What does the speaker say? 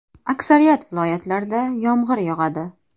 Aksariyat viloyatlarda yomg‘ir yog‘adi.